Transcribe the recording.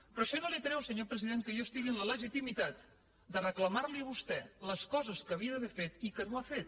però això no treu senyor president que jo estigui en la legitimitat de reclamar li a vostè les coses que havia d’haver fet i que no ha fet